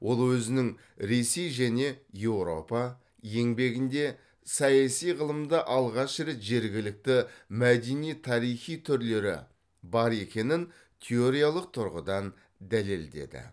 ол өзінің ресей және еуропа еңбегінде саяси ғылымда алғаш рет жергілікті мәдени тарихи түрлері бар екенін теориялық тұрғыдан дәлелдеді